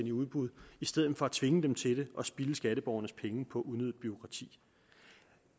i udbud i stedet for at tvinge dem til at spilde skatteborgernes penge på unødigt bureaukrati